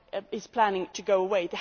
is planning to go away?